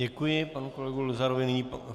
Děkuji panu kolegu Luzarovi.